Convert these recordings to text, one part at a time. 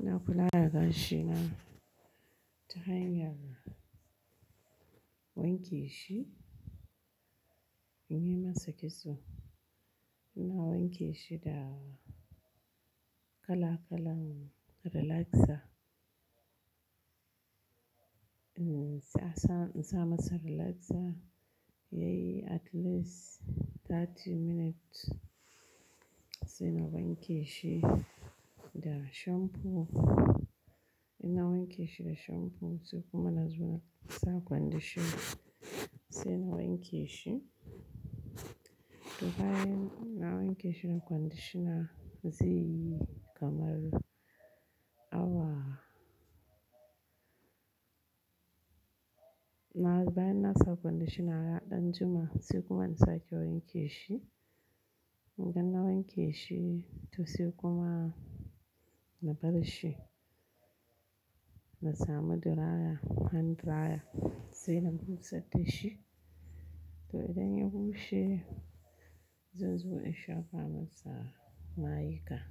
Ina kula da gashi na ta hanyar wanke shi in yi masa kitso. Ina wanke shi da kala-kalan relaxer. In tsasa-- in sa masa relaxer yayi at least 30 minutes sai na wanke shi da shampoo. Ina wanke shi da shampoo sai kuma na zo na sa conditioner sai na wanke shi. To bayan na wanke shi da conditioner zaiyi kamar awa bayan na sa conditioner ya ɗan jima sai kuma in sake wanke shi. Idan na wanke shi to sai kuma na bar shi. Na sami dryer, hand dryer sai na bushar da shi. To idan ya bushe, zan zo in shafa masa ma'aikata.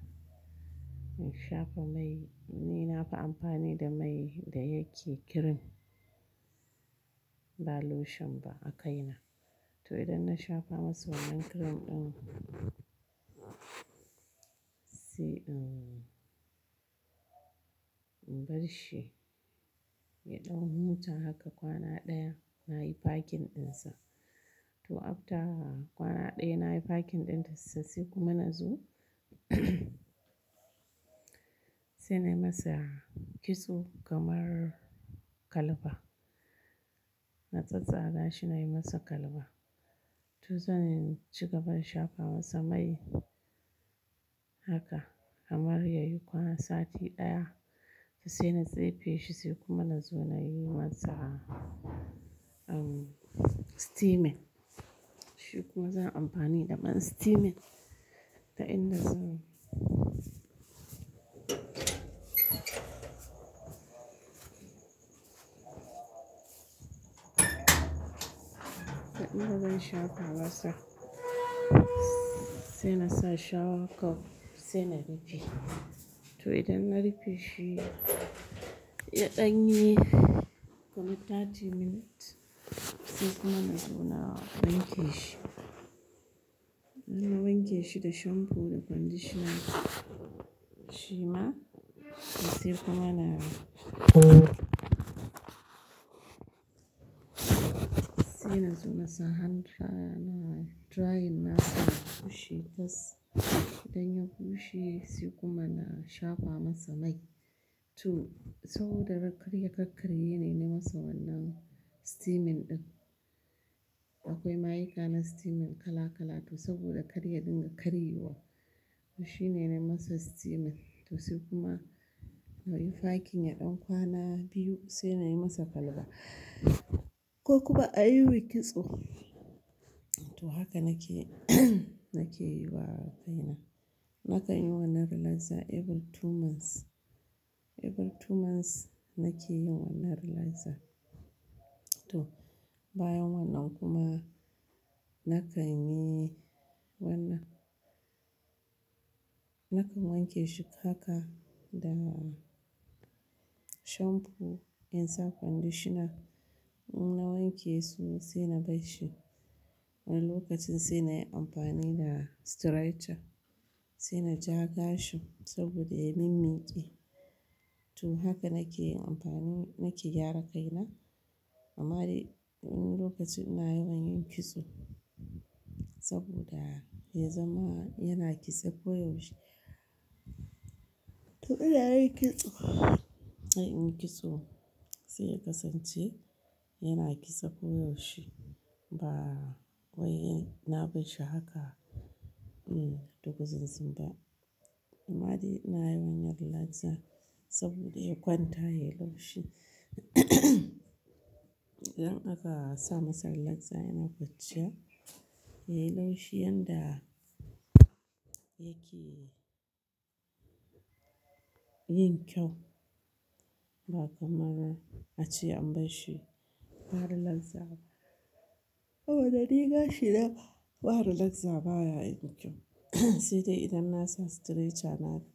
In shafa mai, ni na fi amfani da mai da yake kirim ba lotion ba a kaina. To idan na shafa masa wannan kirim ɗin, sai in bar shi ya ɗau huta haka kwana ɗaya na yi fakin ɗinsa. To after kwana ɗaya na yi fakin ɗinsa sai kuma na zo sai na yi masa kitso kamar kalba. Na tsattsaga shi na yi masa kalba. To zan ci gaba in shafa masa mai haka kamar yayi kwana sati ɗaya to sai na tsefe shi sai kuma na zo na yi masa, um, steaming. Shi kuma zan yi amfani da man steaming ta in da zan da in da zan shafa masa sai na sa shower cap sai na rufe. To idan na rufe shi, ya ɗan yi kamar thirty minutes sai kuma na zo na wanke shi. Na wanke shi da shampoo da conditioner shima sai kuma na sai na zo masa hand dryer nayi drying nasa, ya bushe tas. Idan ya bushe sai kuma na shafa masa mai. To saboda karya kakkarye ne, na yi masa wannan steaming ɗin. Akwai mayuka na steaming kala-kala to saboda karya din ga karye wa. Shi ne na yi masa steaming to sai kuma na yi fakin ya ɗan kwana biyu sai na yi masa kalba. Ko kuma a yiwo kitso. To haka nake nake yi wa kaina. Nakan yi wannan relaxer every two months. Every two months nake yin wannan relaxer. To bayan wannan kuma nakan yi wannan. Nakan wanke shi haka da shampoo in sa conditioner. In na wanke su sai na bar shi. Wani lokacin sai na yi amfani da straightcher, sai na ja gashin saboda ya yi min minƙi. To haka nake yin amfani-- nake gyara kaina. Amma dai wani lokaci ina yawan yin kitso saboda ya zama yana kitsa ko yaushe. To idan na yi kitso, sai ya kasance yana kitsa ko yaushe ba wai na bar shi haka, um, duguzinzimba. Amma dai ina yawan na relaxer saboda ya kwanta ya yi laushi. Idan aka sa masa relaxer yana kwanciya ya yi laushi yanda yake yin kyau ba kamar ace an bar shi ba relaxer ba. A wanni gashi da ba relaxer baya yin kyau. Sai dai idan na sa straightcher na fita.